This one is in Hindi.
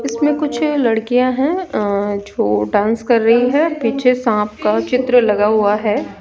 इसमें कुछ लड़कियां हैं अं जो डांस कर रही है पीछे सांप का चित्र लगा हुआ है।